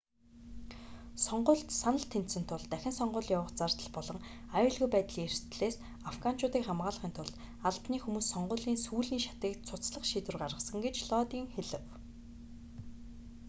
сонгуульд санал тэнцсэн тул дахин сонгууль явуулах зардал болон аюулгүй байдлын эрсдлээс афганчуудыг хамгаалахын тулд албаны хүмүүс сонгуулийн сүүлийн шатыг цуцлах шийдвэр гаргасан гэж лодин хэлэв